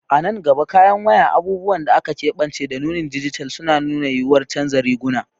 A nan gaba, kayan wayo, abubuwan da aka keɓance, da nunin dijital suna da yuwuwar canza riguna.